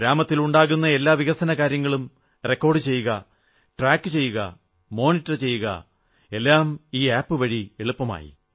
ഗ്രാമത്തിലുണ്ടാകുന്ന എല്ലാ വികസന കാര്യങ്ങളും റെക്കോഡു ചെയ്യുക ട്രാക് ചെയ്യുക മോനിട്ടർ ചെയ്യുക എല്ലാം ഈ ആപ് വഴി എളുപ്പമായി